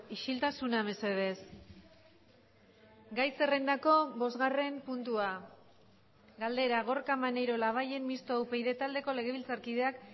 isiltasuna mesedez gai zerrendako bosgarren puntua galdera gorka maneiro labayen mistoa upyd taldeko legebiltzarkideak